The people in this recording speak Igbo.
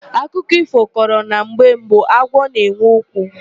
Akụkọ ífò kọrọ na mgbe mbụ agwọ na-enwe ụkwụ.